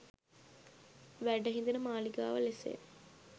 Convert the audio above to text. වැඩහිඳින මාලිගාව ලෙසය